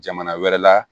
Jamana wɛrɛ la